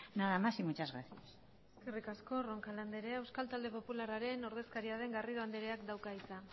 nada más y muchas gracias eskerrik asko roncal andrea euskal talde popularraren ordezkaria den garrido andreak dauka hitza